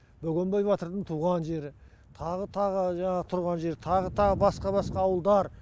бөгенбай батырдың туған жері тағы тағы жаңағы тұрған жері тағы тағы басқа басқа ауылдар